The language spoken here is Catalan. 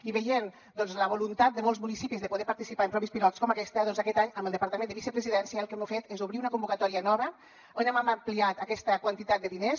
i veient doncs la voluntat de molts municipis de poder participar en proves pilot com aquesta doncs aquest any amb el departament de vicepresidència el que hem fet és obrir una convocatòria nova on hem ampliat aquesta quantitat de diners